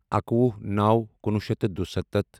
اَکوُہ نَوو کُنوُہ شیٚتھ تہٕ دُسَتتھ